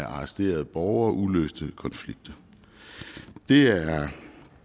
arresterede borgere og uløste konflikter det er